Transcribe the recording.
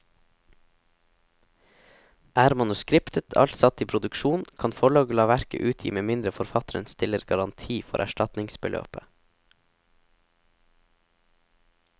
Er manuskriptet alt satt i produksjon, kan forlaget la verket utgi med mindre forfatteren stiller garanti for erstatningsbeløpet.